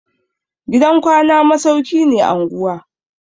Gidan kwana masauki ne anguwa.